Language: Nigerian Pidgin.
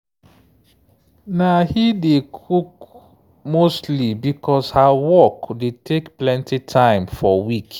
na he dey cook mostly because her work dey take plenty time for week.